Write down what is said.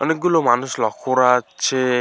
অনেকগুলো মানুষ লক্ষ্য করা হচ্ছে।